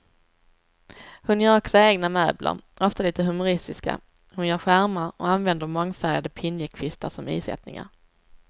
Hon gör också egna möbler, ofta lite humoristiska, hon gör skärmar och använder mångfärgade pinjekvistar som isättningar.